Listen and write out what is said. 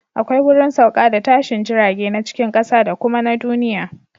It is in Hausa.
Akwai wurin sauka da tashin jirage na cikin ƙasa da kuma na duniya